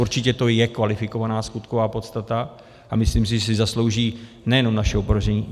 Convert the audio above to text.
Určitě to je kvalifikovaná skutková podstata a myslím si, že si zaslouží nejenom naše opovržení.